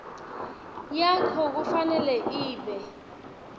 yakho kufanele ibe